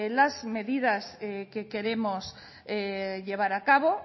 las medidas que queremos llevar a cabo